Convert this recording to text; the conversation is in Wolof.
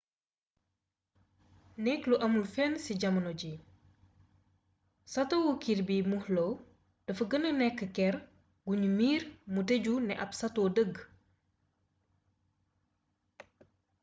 nekk lu amul fenn ci jamono ji satowu kirby muxloe dafa gëna nekk kër gu nu miiree mu tëju ne ab sato dëgg